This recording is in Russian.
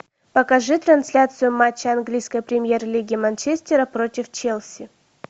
покажи трансляцию матча английской премьер лиги манчестера против челси